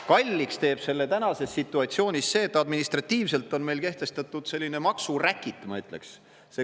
Kalliks teeb selle praeguses situatsioonis see, et administratiivselt on meil kehtestatud selline maksuräkit, ma ütleks.